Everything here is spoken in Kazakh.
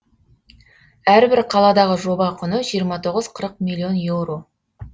әрбір қаладағы жоба құны жиырма тоғыз қырық миллион еуро